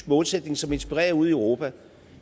målsætning som inspirerer ude i europa